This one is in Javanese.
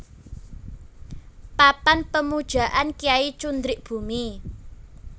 Papan Pemujaan Kyai Cundrik Bumi